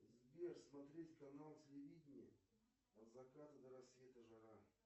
сбер смотреть канал телевидения от заката до рассвета жара